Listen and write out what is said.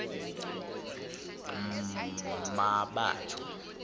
mmabatho